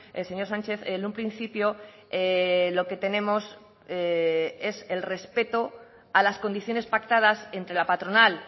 el señor sánchez en un principio lo que tenemos es el respeto a las condiciones pactadas entre la patronal